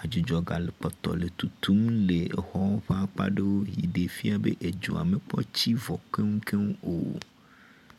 Adzudzɔ gale kpɔtɔ le tutum le exɔ ƒe akpa aɖewo yi ɖe fia be edzoa mekpɔ tsi vɔ keŋkeŋ o.